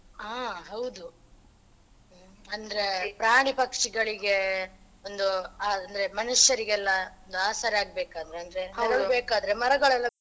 ಹ ಹೌದು ಅಂದ್ರೆ ಪ್ರಾಣಿ ಪಕ್ಷಿಗಳಿಗೆ ಒಂದು ಆ ಅಂದ್ರೆ ಮನುಷ್ಯರಿಗೆಲ್ಲ ಒಂದು ಆಸರೆಯಾಗ್ಬೇಕಾದ್ರೆ ಮರಗಳೆಲ್ಲ.